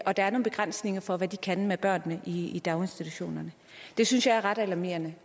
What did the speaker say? og der er nogle begrænsninger for hvad de kan med børnene i daginstitutionerne det synes jeg er ret alarmerende